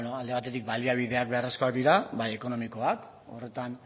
alde batetik baliabideak beharrezkoak dira bai ekonomikoak horretan